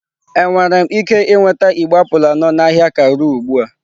Enwere m ike nweta igbe apụl anọ na ahịa Karu ugbu a?